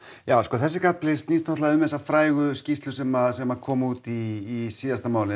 þessi kafli snýst um þessa skýrslu sem sem kom út í síðasta mánuði